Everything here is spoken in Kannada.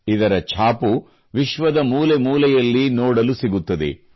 ಇದರ ಛಾಪು ವಿಶ್ವದ ಮೂಲೆಮೂಲೆಯಲ್ಲಿ ನೋಡಲು ಸಿಗುತ್ತದೆ